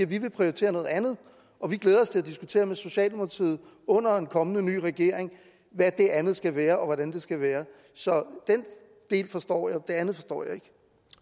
vil prioritere noget andet og vi glæder os til at diskutere med socialdemokratiet under en kommende ny regering hvad det andet skal være og hvordan det skal være så den del forstår jeg men det andet forstår jeg ikke